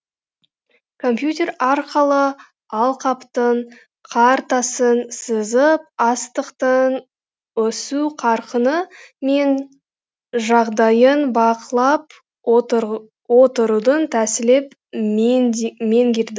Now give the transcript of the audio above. компьютер арқылы алқаптың картасын сызып астықтың өсу қарқыны мен жағдайын бақылап отырудың тәсілін меңгерді